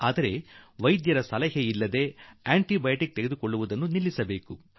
ನಿಜ ಆದರೆ ವೈದ್ಯರ ಸಲಹೆ ಇಲ್ಲದೆ ನಾವು ಆಂಟಿ ಬಯೋಟಿಕ್ ತೆಗೆದುಕೊಳ್ಳೋದನ್ನು ನಿಲ್ಲಿಸಿ ಬಿಡೋಣ